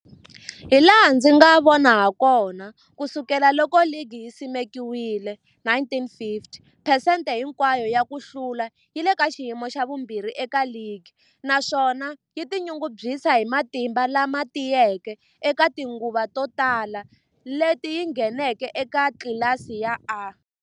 Hilaha ndzi nga vona hakona, ku sukela loko ligi yi simekiwile,1950, phesente hinkwayo ya ku hlula yi le ka xiyimo xa vumbirhi eka ligi, naswona yi tinyungubyisa hi matimba lama tiyeke eka tinguva to tala leti yi ngheneke eka tlilasi ya A.